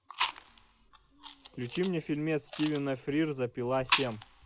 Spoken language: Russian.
включи мне фильмец стивена фрирза пила семь